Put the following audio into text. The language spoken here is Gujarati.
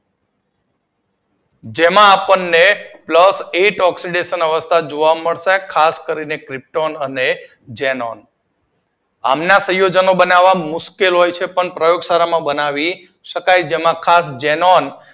જેનો આપણને પ્લસ એક ઓક્સીડેશન અવસ્થા જોવા મળશે ખાસ કરીને ક્રિપ્ટોન અને ઝેનોન આમના પ્રયોજન બનાવવા મુશ્કેલ હોય છે પરંતુ પ્રયોક્ષર બનાવી શકાય છે જેમાં ખાસ ઝેનોન